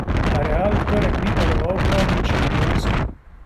A Real v torek ni deloval prav nič šampionsko.